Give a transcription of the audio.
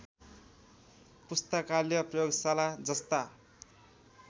पुस्तकालय प्रयोगशाला जस्ता